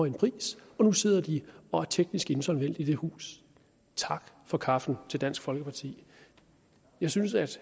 en pris og nu sidder de og er teknisk insolvente i det hus tak for kaffe til dansk folkeparti jeg synes at